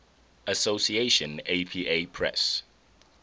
association apa press